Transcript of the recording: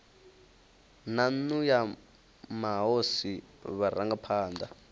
na nnu ya mahosi vharangaphana